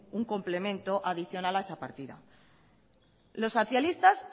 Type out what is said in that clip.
un complemento adicional a esa partida los socialistas